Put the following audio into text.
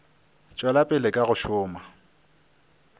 tšwela pele ka go šoma